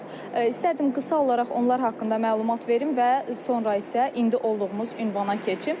İstərdim qısa olaraq onlar haqqında məlumat verim və sonra isə indi olduğumuz ünvana keçim.